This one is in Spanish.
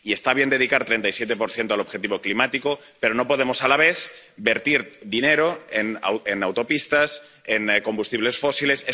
Y está bien dedicar el 37 al objetivo climático, pero no podemos, a la vez, verter dinero en autopistas, en combustibles fósiles.